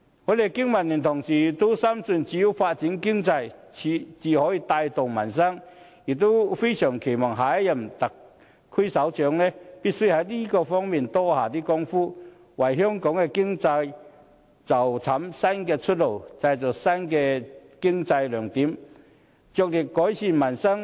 我們經民聯的同事都深信只有發展經濟才能帶動民生，也非常期望下任特首必須在這方面多下工夫，為香港的經濟尋找新的出路，製造新的經濟亮點，着力改善民生。